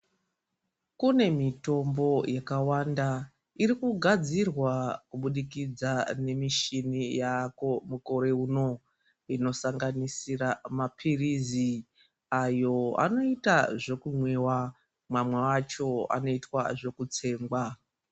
Kune mitombo yakawanda irikugadzirwa kubudikidza ngemishini yaako mukure uno inosanganisira mapirizi ayo anoita zvekumwiwa mamwe acho anoitwa zvekutsengwa.